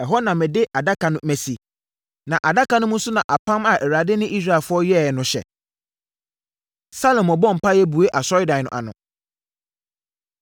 Ɛhɔ na mede Adaka no asi, na Adaka no mu nso na apam a Awurade ne Israelfoɔ yɛeɛ no hyɛ.” Salomo Bɔ Mpaeɛ Bue Asɔredan No Ano